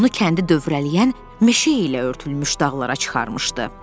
Onu kəndi dövrələyən meşə ilə örtülmüş dağlara çıxarmışdı.